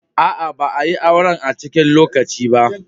Aa, ba a'yi auren a'cikin coci ba.